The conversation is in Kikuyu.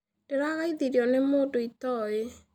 Ndĩrageithirio nĩ mũndũ itoĩ.